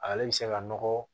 Ale bɛ se ka nɔgɔ